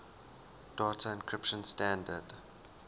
data encryption standard